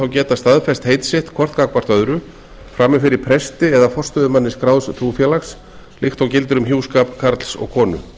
geta staðfest heit sitt hvort gagnvart öðru frammi fyrir presti eða forstöðumanni skráðs trúfélags líkt og gildir um hjúskap karls og konu